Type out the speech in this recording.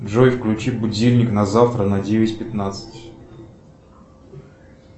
джой включи будильник на завтра на девять пятнадцать